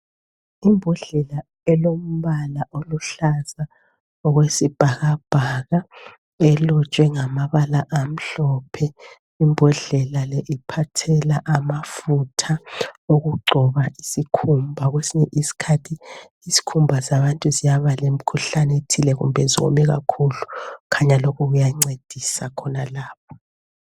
Imbodlela elombala oluhlaza okwesibhakabhaka elotshwe ngamabala amhlophe imbodlela le iphathela amafutha okugcoba isikhumba kwesinye isikhathi izikhumba zabantu ziyaba lemikhuhlane ethile kumbe ziwome kakhulu kukhanya lokhu kuyancedisa khonalapho.